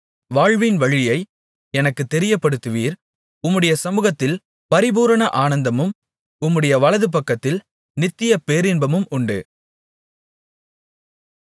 வாழ்வின்வழியை எனக்குத் தெரியப்படுத்துவீர் உம்முடைய சமுகத்தில் பரிபூரண ஆனந்தமும் உம்முடைய வலதுபக்கத்தில் நித்திய பேரின்பமும் உண்டு